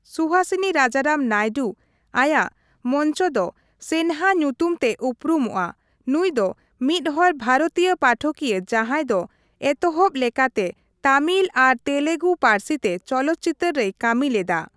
ᱥᱩᱦᱟᱥᱤᱱᱤ ᱨᱟᱡᱟᱨᱟᱢ ᱱᱟᱭᱰᱩ, ᱟᱭᱟᱜ ᱢᱚᱧᱪᱚ ᱫᱚ ᱥᱱᱮᱦᱟ ᱧᱩᱛᱩᱢ ᱛᱮ ᱩᱨᱩᱢᱚᱜᱼᱟ, ᱱᱩᱭ ᱫᱚ ᱢᱤᱫ ᱦᱚᱲ ᱵᱷᱟᱨᱚᱛᱤᱭᱟᱹ ᱯᱟᱴᱷᱚᱠᱤᱭᱟᱹ ᱡᱟᱦᱟᱸᱭ ᱫᱚ ᱮᱛᱚᱦᱚᱵ ᱞᱮᱠᱟᱛᱮ ᱛᱟᱢᱤᱞ ᱟᱨ ᱛᱮᱞᱮᱜᱩ ᱯᱟᱹᱨᱥᱤ ᱛᱮ ᱪᱚᱞᱚᱛᱪᱤᱛᱟᱹᱨ ᱨᱮᱭ ᱠᱟᱹᱢᱤ ᱞᱮᱫᱟ ᱾